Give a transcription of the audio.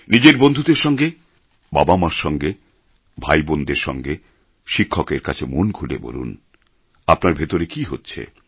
নিজের বন্ধুদের সঙ্গে বাবা মা র সঙ্গে ভাই বোনদের সঙ্গে শিক্ষকের কাছে মন খুলে বলুন আপনার ভেতরে কী হচ্ছে